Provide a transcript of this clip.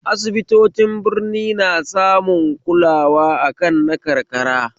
Asibitocin Birni na samun kula akan na karka